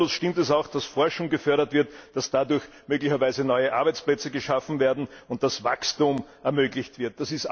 Zweifellos stimmt es auch, dass Forschung gefördert wird, dass dadurch möglicherweise neue Arbeitsplätze geschaffen werden und das Wachstum ermöglicht wird.